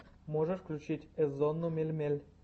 можешь включить эзонну мельмель